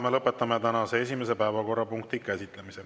Me lõpetame tänase esimese päevakorrapunkti käsitlemise.